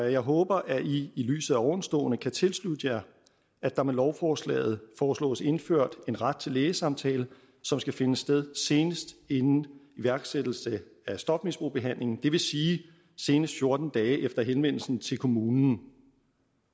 jeg håber at i i lyset af ovenstående kan tilslutte jer at der med lovforslaget foreslås indført en ret til lægesamtale som skal finde sted senest inden iværksættelse af stofmisbrugsbehandlingen det vil sige senest fjorten dage efter henvendelsen til kommunen